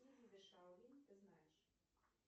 какие виды шаолинь ты знаешь